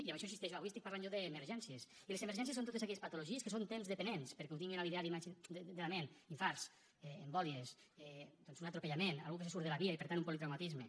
i en això hi insisteixo avui estic parlant jo d’emergències i les emergències són totes aquelles patologies que són temps dependents perquè ho tinguin a l’ideari de la ment infarts embòlies un atropellament algú que surt de la via i per tant un politraumatisme